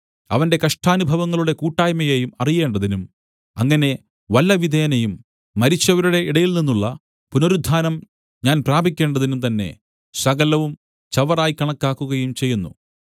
അവന്റെ കഷ്ടാനുഭവങ്ങളുടെ കൂട്ടായ്മയെയും അറിയേണ്ടതിനും അങ്ങനെ വല്ലവിധേനയും മരിച്ചവരുടെ ഇടയിൽനിന്നുള്ള പുനരുത്ഥാനം ഞാൻ പ്രാപിക്കേണ്ടതിനും തന്നെ സകലവും ചവറായി കണക്കാക്കുകയും ചെയ്യുന്നു